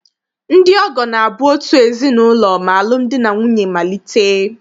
Ndị ọgọ na-abụ out ezinaụlọ ma alụm di na nwunye malite.